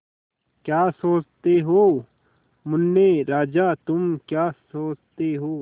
क्या सोचते हो मुन्ने राजा तुम क्या सोचते हो